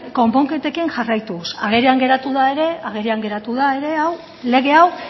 konponketekin jarraituz agerian geratu da ere lege hau